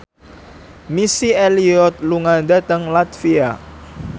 Missy Elliott lunga dhateng latvia